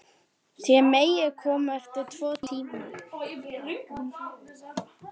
Þér megið koma eftir tvo tíma.